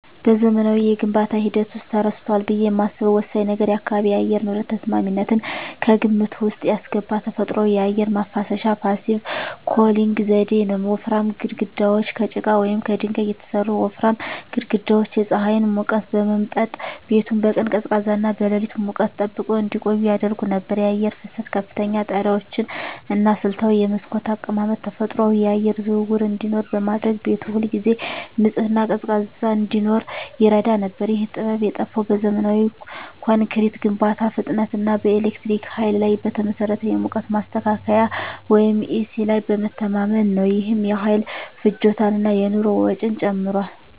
በዘመናዊው የግንባታ ሂደት ውስጥ ተረስቷል ብዬ የማስበው ወሳኝ ነገር የአካባቢ የአየር ንብረት ተስማሚነትን ከግምት ውስጥ ያስገባ ተፈጥሯዊ የአየር ማናፈሻ (Passive Cooling) ዘዴ ነው። ወፍራም ግድግዳዎች: ከጭቃ ወይም ከድንጋይ የተሠሩ ወፍራም ግድግዳዎች የፀሐይን ሙቀት በመምጠጥ ቤቱን በቀን ቀዝቃዛና በሌሊት ሙቀት ጠብቀው እንዲቆይ ያደርጉ ነበር። የአየር ፍሰት: ከፍተኛ ጣሪያዎች እና ስልታዊ የመስኮት አቀማመጥ ተፈጥሯዊ የአየር ዝውውር እንዲኖር በማድረግ ቤቱ ሁልጊዜ ንጹህና ቀዝቃዛ እንዲሆን ይረዳ ነበር። ይህ ጥበብ የጠፋው በዘመናዊ ኮንክሪት ግንባታ ፍጥነት እና በኤሌክትሪክ ኃይል ላይ በተመሠረተ የሙቀት ማስተካከያ (ኤሲ) ላይ በመተማመን ነው። ይህም የኃይል ፍጆታን እና የኑሮ ወጪን ጨምሯል።